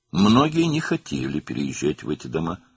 Bir çoxları bu evlərə köçmək istəmirdi.